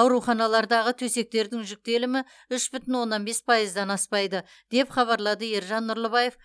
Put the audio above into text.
ауруханалардағы төсектердің жүктелімі үш бүтін оннан бес пайыздан аспайды деп хабарлады ержан нұрлыбаев